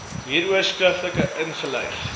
hieroor skriftelik ingelig